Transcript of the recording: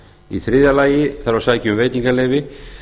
í þriðja lagi þarf að sækja um veitingaleyfi